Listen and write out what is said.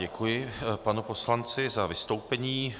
Děkuji panu poslanci za vystoupení.